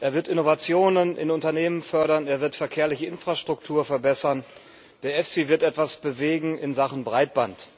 er wird Innovationen in Unternehmen fördern, er wird verkehrliche Infrastruktur verbessern, der EFSI wird etwas bewegen in Sachen Breitband.